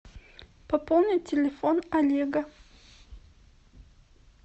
пополнить телефон олега